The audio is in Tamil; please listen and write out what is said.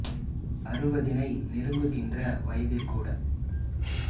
அறுபதினை நெருங்குகின்ற வயதில் கூட